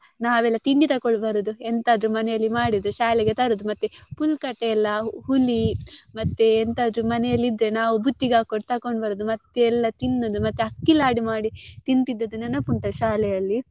ನಾವೆಲ್ಲ ತಿಂಡಿ ತಕೊಂಡು ಬರುದು ಎಂತಾದ್ರೂ ಮನೆಯಲ್ಲಿ ಮಾಡಿದ್ರೆ ಶಾಲೆಗೆ ತರುದು ಮತ್ತೆ ಪುಲ್ಕಟೆ ಎಲ್ಲ ಹುಳಿ ಮತ್ತೆ ಎಂತಾದ್ರೂ ಮನೆಯಲ್ಲಿ ಇದ್ರೆ ನಾವ್ ಬುತ್ತಿಗೆ ಹಾಕೊಂಡ್ ತಕೊಂಡು ಬರುದು ಮತ್ತೆ ಎಲ್ಲ ತಿನ್ನುದು ಮತ್ತೆ ಅಕ್ಕಿ ಲಾಡು ಮಾಡಿ ತಿಂತಿದ್ದು ನೆನಪುಂಟಾ ಶಾಲೆಯಲ್ಲಿ.